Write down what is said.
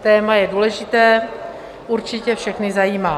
Téma je důležité, určitě všechny zajímá.